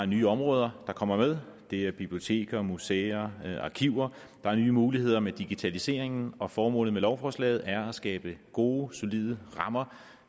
nye områder der kommer med det er biblioteker museer arkiver der er nye muligheder med digitaliseringen og formålet med lovforslaget er at skabe gode solide rammer